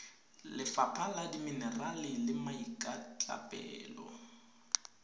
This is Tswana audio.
lefapha la dimenerale le maikatlapelo